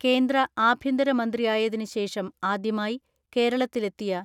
കേന്ദ്ര ആഭ്യന്തര മന്ത്രിയായതിന് ശേഷം ആദ്യമായി കേരളത്തിലെത്തിയ